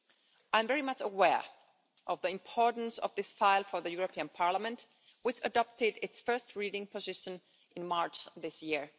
I am very much aware of the importance of this file for the European Parliament, which adopted its first reading position in March this year.